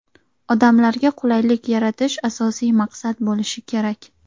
Odamlarga qulaylik yaratish asosiy maqsad bo‘lishi kerak.